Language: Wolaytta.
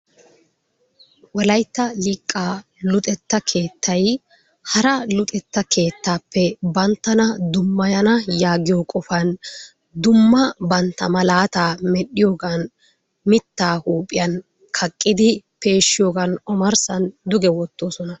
Wolayttaa liqaa luxettaa kettay haraa luxettaa kettappe bantannaa dumayanna yagiyoo qofani dumma banttaa malattaa merhiyogan mittaa huphiyaan kaqiddi peshiyogan omarissan duggee wotosonna.